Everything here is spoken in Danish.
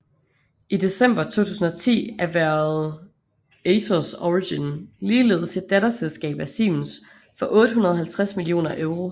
I december 2010 erhvervede Atos Origin ligeledes et datterselskab af Siemens for 850 millioner euro